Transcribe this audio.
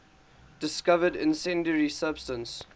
discovered incendiary substance